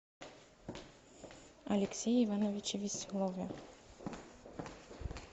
алексее ивановиче веселове